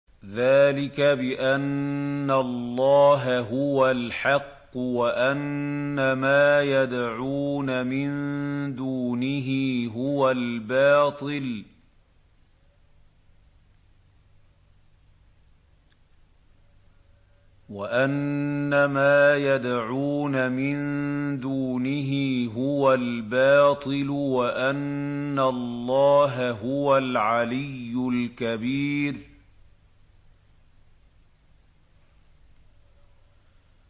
ذَٰلِكَ بِأَنَّ اللَّهَ هُوَ الْحَقُّ وَأَنَّ مَا يَدْعُونَ مِن دُونِهِ هُوَ الْبَاطِلُ وَأَنَّ اللَّهَ هُوَ الْعَلِيُّ الْكَبِيرُ